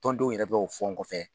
Tɔndenw yɛrɛ bɛ k'o fɔ n kɔfɛ.